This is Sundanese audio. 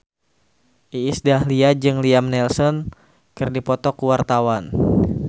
Iis Dahlia jeung Liam Neeson keur dipoto ku wartawan